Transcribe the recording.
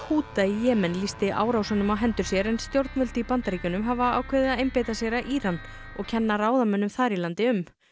Húta í Jemen lýsti árásunum á hendur sér en stjórnvöld í Bandaríkjunum hafa ákveðið að einbeita sér að Íran og kenna ráðamönnum þar í landi um